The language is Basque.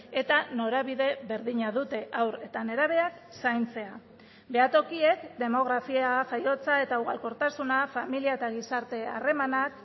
eta norabide berdina dute haur eta nerabeak zaintzea behatokiek demografia jaiotza eta ugalkortasuna familia eta gizarte harremanak